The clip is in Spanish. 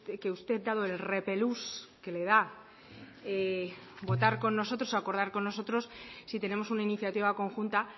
que usted dado el repelús que le da votar con nosotros o acordar con nosotros si tenemos una iniciativa conjunta